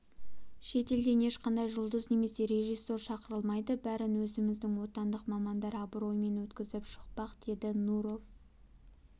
шетелден ешқандай жұлдыз немесе режиссер шақырылмайды бәрін өзіміздің отандық мамандар абыроймен өткізіп шықпақ деді нуров